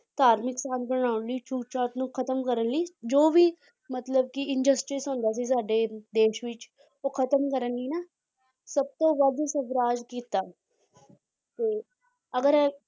ਧਾਰਮਿਕ ਸਾਂਝ ਬਣਾਉਣ ਲਈ, ਛੂਤ-ਛਾਤ ਨੂੰ ਖਤਮ ਕਰਨ ਲਈ ਜੋ ਵੀ ਮਤਲਬ ਕਿ ਹੁੰਦਾ ਸੀ ਸਾਡੇ ਦੇਸ ਵਿੱਚ ਉਹ ਖਤਮ ਕਰਨ ਲਈ ਨਾ ਸਭ ਤੋਂ ਵੱਧ ਸਵਰਾਜ ਕੀਤਾ ਤੇ ਅਗਰ ਇਹ